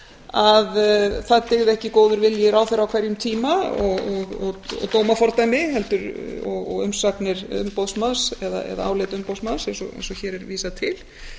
að það dygði ekki góður vilji ráðherra á hverjum tíma og dómafordæmi og umsagnir umboðsmanns eða álit umboðsmanns eins og hér er vísað til